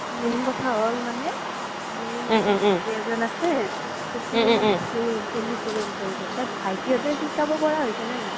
main কথা হ্'ম মানে মোৰো ভাইতি এজ্ন আছে সিও মানে ধুল ধুল সিকিব বিচাৰিছে ভাইতি হ্'তে সিকাব পাৰা হৈছে নে নাই?